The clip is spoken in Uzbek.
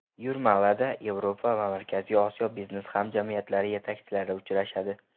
Yurmalada Yevropa va Markaziy Osiyo biznes hamjamiyatlari yetakchilari uchrashadi.